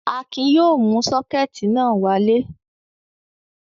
Akin yóò mú sọ́kẹ́tì náà wálé.